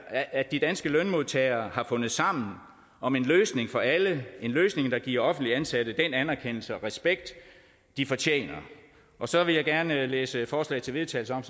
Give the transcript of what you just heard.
at de danske lønmodtagere har fundet sammen om en løsning for alle en løsning der giver offentligt ansatte den anerkendelse og respekt de fortjener så vil jeg gerne læse et forslag til vedtagelse op